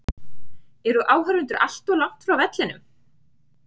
Eru áhorfendur allt of langt frá vellinum?